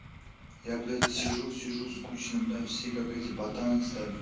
я блять сижу сижу скучно бля все как эти батаны стали